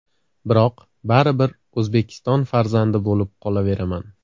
Biroq baribir O‘zbekiston farzandi bo‘lib qolaveraman.